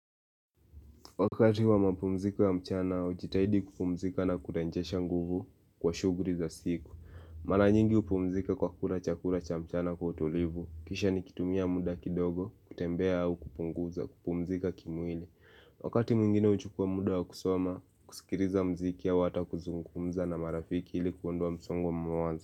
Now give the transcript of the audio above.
Wakati wa mapumziko ya mchana, ujitahidi kupumzika na kurenjesha nguvu kwa shugri za siku. Maranyingi upumzika kwa kura chakura cha mchana kwa utulivu. Kisha ni kitumia muda kidogo, kutembea au kupunguza, kupumzika kimwili. Wakati mwingine uchukua muda wa kusoma, kusikiriza mziki au hata kuzungumza na marafiki ilikuondoa msongo wa mawaza.